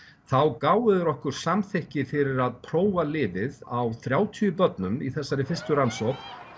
þá gáfu þeir okkur samþykki fyrir að prófa lyfið á þrjátíu börnum í þessari fyrstu rannsókn